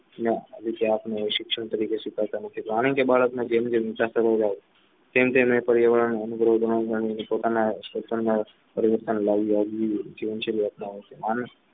શિક્ષણ તરીકે સ્વીકારતા નથી કારણ કે બાળક ને જેમ જેમ પર્યાવરણ અનુભવ બનાવે છે પોતાના પરિવર્તન લાવે છે